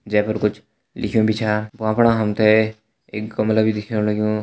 जें पर कुछ लिख्युं भी छ वां पर हम तें एक गमला भी दिख्येंणजै पर कुछ लिख्युं भी छ भ्वां फणा हम तें एक गमला भी दिखेण लग्युं। लग्युं।